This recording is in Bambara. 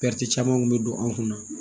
caman kun bɛ don an kun na